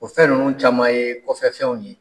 O fɛn ninnu caman ye kɔfɛfɛnw ye.